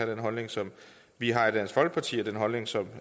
den holdning som vi har i dansk folkeparti og den holdning som